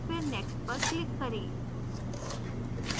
फिर next पर click करें